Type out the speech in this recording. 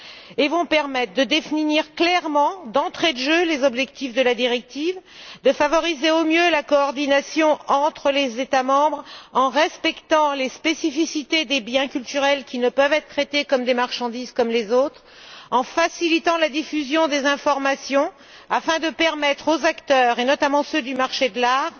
Elles vont permettre de définir clairement, d'entrée de jeu, les objectifs de la directive et de favoriser au mieux la coordination entre les États membres, en respectant les spécificités des biens culturels qui ne peuvent être traités comme des marchandises comme les autres et en facilitant la diffusion des informations afin de permettre aux acteurs et, notamment, à ceux du marché de l'art